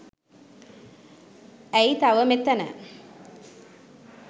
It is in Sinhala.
ඇයි තව මෙතන